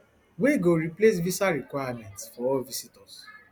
wey go replace visa requirements for all visitors